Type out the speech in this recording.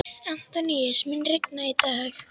Antóníus, mun rigna í dag?